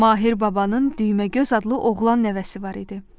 Mahir Babanın düyməgöz adlı oğlan nəvəsi var idi.